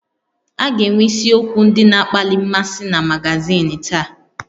A ga-enwe isiokwu ndị na-akpali mmasị na magazin taa